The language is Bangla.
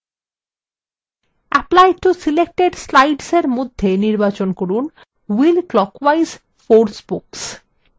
apply to selected slides এর মধ্যে নির্বাচন করুন wheel clockwise 4 spokes